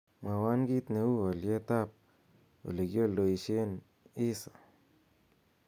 mwowon kiit neu olyeet ab olekyoldoisien hisa